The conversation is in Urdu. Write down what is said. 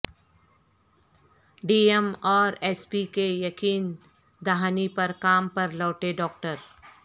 ڈی ایم اور ایس پی کی یقین دہانی پر کام پر لوٹے ڈاکٹر